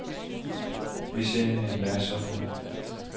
Vi ser hende hver søndag.